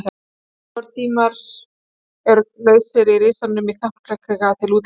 Örfáir tímar eru lausir í Risanum í Kaplakrika til útleigu.